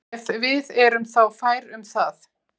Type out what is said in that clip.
Ef við erum þá fær um það.